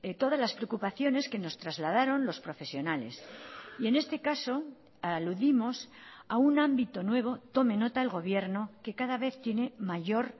todas las preocupaciones que nos trasladaron los profesionales y en este caso aludimos a un ámbito nuevo tome nota el gobierno que cada vez tiene mayor